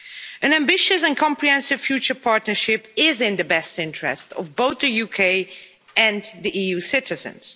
An ambitious and comprehensive future partnership is in the best interest of both the UK and the EU citizens.